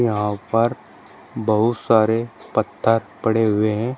यहां पर बहुत सारे पत्थर पड़े हुए हैं।